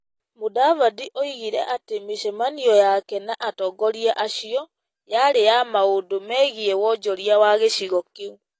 Mudavadi oigire atĩ mĩcemanio yake na atongoria acio yarĩ ya maũndũ megiĩ wonjoria wa gĩcigo kĩu.